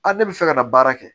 A ne bɛ fɛ ka na baara kɛ